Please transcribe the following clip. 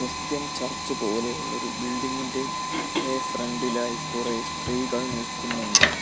Christian church പോലെയുള്ളൊരു building ഇന്റെ എ ഫ്രണ്ട്‌ ഇലായി കുറെ സ്ത്രീകൾ നിൽക്കുന്നുണ്ട്.